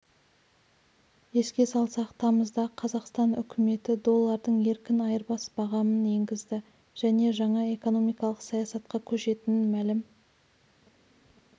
еске салсақ тамызда қазақстан үкіметі доллардың еркін айырбас бағамын енгізді және жаңа экономикалық саясатқа көшетінін мәлім